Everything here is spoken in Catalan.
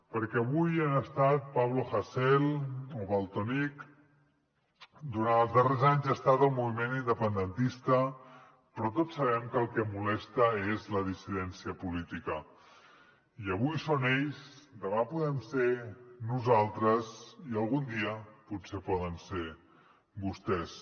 perquè avui han estat pablo hasél o valtònyc durant els darrers anys ha estat el moviment independentista però tots sabem que el que molesta és la dissidència política i avui són ells demà podem ser nosaltres i algun dia potser poden ser vostès